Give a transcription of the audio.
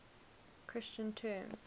christian terms